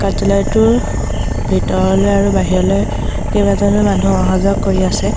ইয়াত ডিলাৰ টোৰ ভিতৰলৈ আৰু বাহিৰলৈ কেইবাজনো মানুহ অহা যোৱা কৰি আছে।